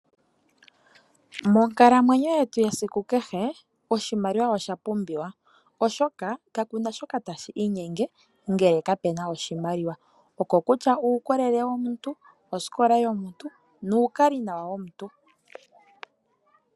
Monkalamwenyo yetu yesiku kehe oshimaliwa oshapumbiwa oshoka kakuna shoka tashi inyenge ngele kapuna oshimaliwa, oko kutya okuukolele womuntu, oskola yomuntu nuukali nawa womuntu.